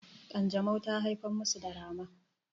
kanjamau ta haifar masa da rama